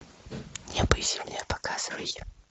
небо и земля показывай